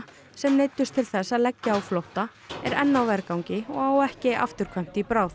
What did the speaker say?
sem neyddust til þess að leggja á flótta er enn á vergangi og á ekki afturkvæmt í bráð